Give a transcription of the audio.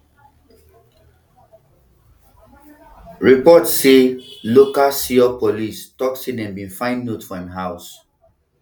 reports say local seoul police tok say dem bin find note for im house